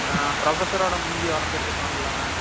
ஆஹ் professor ஓட மூஞ்சி வரஞ்சுட்டு இருப்பான்ல.